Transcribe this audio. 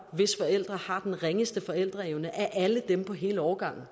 hvis forældre har den ringeste forældreevne af alle dem på hele årgangen